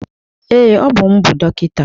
Ee, Ọ bụ m bụ dọkịta.